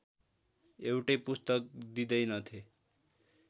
एउटै पुस्तक दिँदैनथे